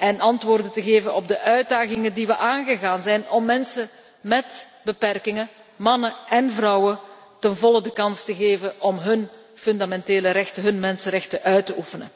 om antwoorden te geven op de uitdagingen die we zijn aangegaan om mensen met beperkingen, mannen én vrouwen, ten volle de kans te geven hun fundamentele rechten, hun mensenrechten uit te oefenen.